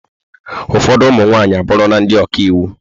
Ụfọdụ ụmụ nwaanyị abụrụla ndị ọka iwu.